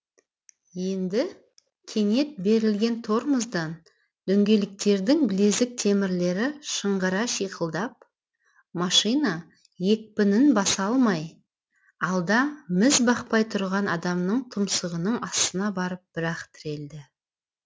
енді кенет берілген тормоздан дөңгелектердің білезік темірлері шыңғыра шиқылдап машина екпінін баса алмай алда міз бақпай тұрған адамның тұмсығының астына барып бір ақ тірелді